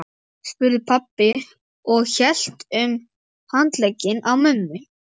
spurði pabbi og hélt um handlegginn á mömmu.